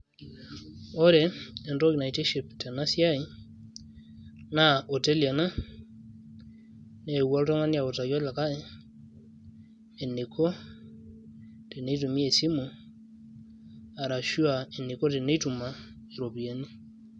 Ore entoki naitiship tenasiai, naa oteli ena, neewuo oltung'ani aitaki olikae eniko tenitumia esimu, arashua eniko teneituma iropiyiani.